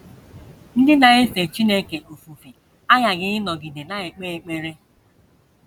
Ndị na - efe Chineke ofufe aghaghị ịnọgide na - ekpe ekpere.